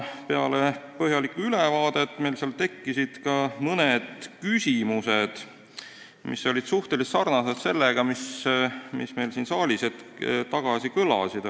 Peale põhjalikku ülevaadet tekkisid meil mõned küsimused, mis olid suhteliselt sarnased nendega, mis meil siin saalis hetk tagasi kõlasid.